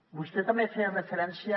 vostè també feia referència